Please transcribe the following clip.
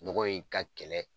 Nɔgɔ in ka kɛlɛ